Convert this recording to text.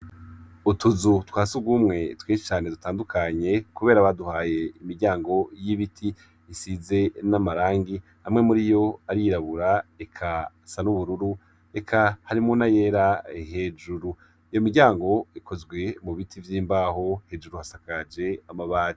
Utuzu twa sugumwe twinshi cane dutandukanye kubera baduhaye imiryango y'ibiti, isize n'amarangi amwe muriyo arirabura, eka asa n'ubururu, eka harimwo na yera hejuru, iyo miryango ikozwe mu biti vy'imbaho hejuru hasakaje amabati.